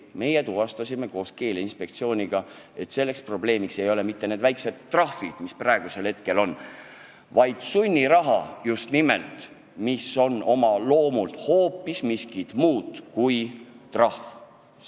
Meie tuvastasime koos Keeleinspektsiooniga, et probleemiks ei ole mitte need väikesed trahvid, mis praegu kehtivad, vaid väike sunniraha, mis on oma loomult hoopis miskit muud kui trahv.